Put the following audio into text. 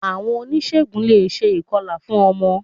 Àwon onísègùn le è se ìkọlà fún ọmọ